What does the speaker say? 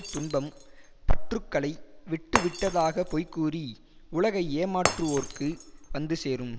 துன்பம் பற்றுகளை விட்டு விட்டதாகப் பொய்கூறி உலகை ஏமாற்றுவோர்க்கு வந்து சேரும்